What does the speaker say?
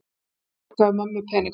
Fólkið borgaði mömmu peninga!